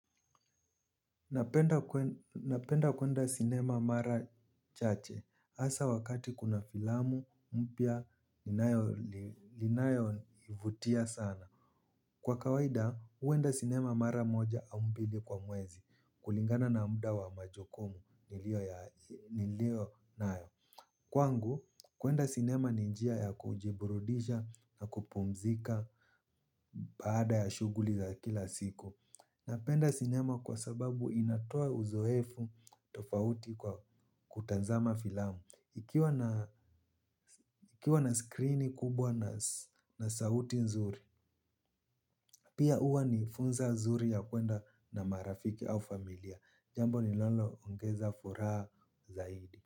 Napenda kuenda sinema mara chache. Asa wakati kuna filamu, mpya, linayonivutia sana. Kwa kawaida, huenda sinema mara moja au mbili kwa mwezi kulingana na muda wa majukumu nilionayo. Kwangu, kuenda sinema ni njia ya kujiburudisha na kupumzika baada ya shuguli za kila siku. Napenda sinema kwa sababu inatoa uzoefu tofauti kwa kutazama filamu. Ikiwa na screen kubwa na sauti nzuri, pia huwa ni funza nzuri ya kwenda na marafiki au familia. Jambo linalo ongeza furaha zaidi.